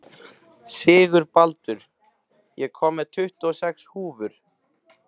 Sigurbaldur, ég kom með tuttugu og sex húfur!